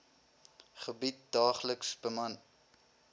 gebied daagliks beman